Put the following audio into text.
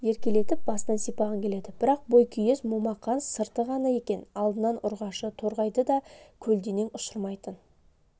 еркелетіп басынан сипағың келеді бірақ бойкүйез момақан сырты ғана екен алдынан ұрғашы торғайды да көлденең ұшырмайтын